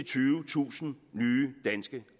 20000 nye danske